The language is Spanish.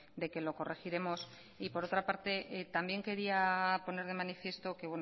de que lo corregiremos y por otra parte también quería poner de manifiesto que